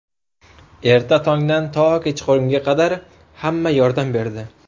Erta tongdan to kechqurunga qadar hamma yordam berdi.